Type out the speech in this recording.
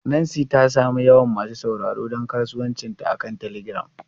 Nancy ta sami yawan masu sauraro don kasuwancinta akan telegram.